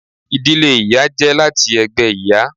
Ìdílé ìyá jẹ láti ẹgbẹ ìyá.